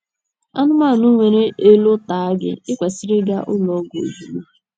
Anụmanụ nwere elò taa gị, i kwesịrị ịga ụlọ ọgwụ ozugbo.